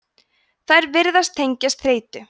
þær virðast tengjast þreytu